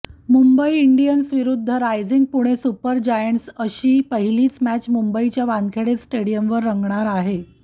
Mumbai Indians विरूद्ध Rising Pune Super Giants अशी पहिलीच मॅच मुंबईच्या वानखेडे स्टेडियमवर रंगणार आहे